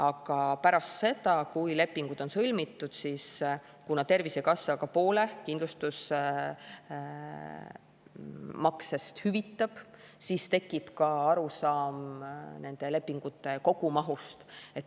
Aga pärast seda, kui lepingud on sõlmitud, ja kuna Tervisekassa hüvitab poole kindlustusmaksest, siis tekib ka arusaam nende lepingute kogumahust.